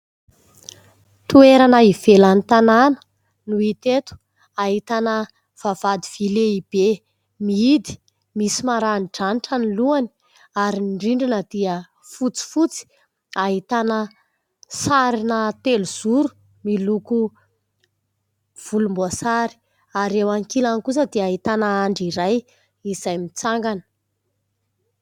Toerana ivelan'ny tanàna no hita eto, ahitana vavahady vỳ mihidy, misy maranidranitra ny lohany, ary ny rindrina dia fotsifotsy ahitana sarina telozoro miloko volomboasary, ary eo ankilany kosa dia ahitana andry iray izay mitsangana.